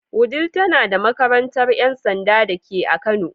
Wudil tana da makarantar ‘yan sanda dake a kano.